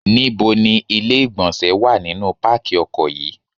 Ní bo ni ilé ìgbọ̀nsẹ̀ wà nínú pákí ọkọ̀ yí?